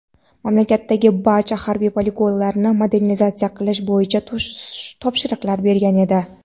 mamlakatdagi barcha harbiy poligonlarni modernizatsiya qilish bo‘yicha topshiriqlar bergan edi.